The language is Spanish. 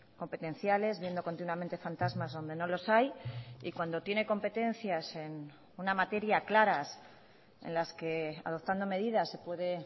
competenciales viendo continuamente fantasmas donde no los hay y cuando tiene competencias en una materia claras en las que adoptando medidas se puede